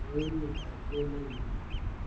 Ako emet ab kwan nenyunet.